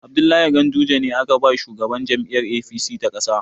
Abdullahi Ganduje ne aka ba shugaban jam'iyyar APC ta ƙasa.